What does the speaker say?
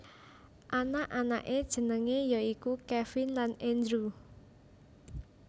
Anak anaké jenengé ya iku Kevin lan Andrew